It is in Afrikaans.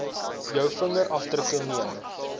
jou vingerafdrukke neem